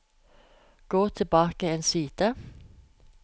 Gå tilbake én side